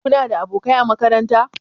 Kuna da abokai a makaranta?